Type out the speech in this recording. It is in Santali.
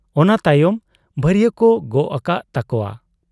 ᱚᱱᱟ ᱛᱟᱭᱚᱢ ᱵᱷᱟᱹᱨᱤᱭᱟᱹᱠᱚ ᱜᱚᱜ ᱟᱠᱟᱜ ᱛᱟᱠᱚᱣᱟ ᱾